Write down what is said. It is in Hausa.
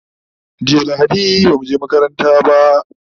jiya lahadi bamu je makaranta ba